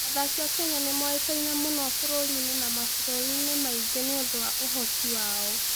Athaki a Kenya nĩ moĩkaine mũno bũrũri-inĩ na mabũrũri-inĩ mangĩ nĩ ũndũ wa ũhoti wao.